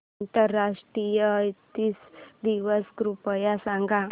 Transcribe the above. आंतरराष्ट्रीय अहिंसा दिवस कृपया सांगा